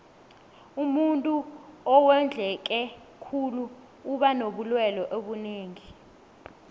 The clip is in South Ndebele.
umuntuu owondleke khulu uba nobulelwe obunengi